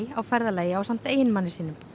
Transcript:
á ferðalagi ásamt eiginmanni sínum